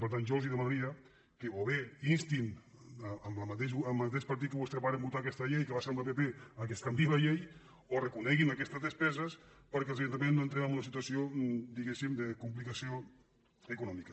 per tant jo els demanaria que o bé instin el mateix partit amb qui vostès varen votar aquesta llei que va ser amb el pp que es canviï la llei o reconeguin aquestes despeses perquè els ajun·taments no entrin en una situació diguem·ne de com·plicació econòmica